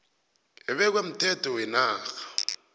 ebekwe mthetho wenarha